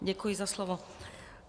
Děkuji za slovo.